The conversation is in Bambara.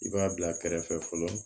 I b'a bila kɛrɛfɛ fɔlɔ